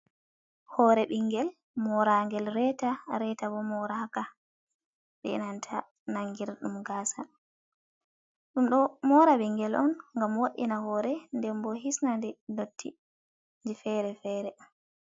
Hoore ɓingel moragel reeta, reeta bo moraka be nanta nangir dum gaasa. Ɗum ɗo mora ɓingel un ngam wo'ina hoore, ɗen bo hisna nde dotti je fere-fere.